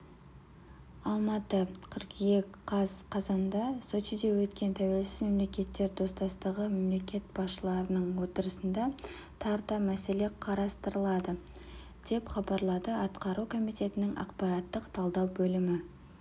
алматы қыркүйек қаз қазанда сочиде өткен тәуелсіз мемлекеттер достастығы мемлекет басшыларының отырысында тарта мәселе қарастырылады деп хабарлады атқару комитетінің ақпараттық-талдау бөлімі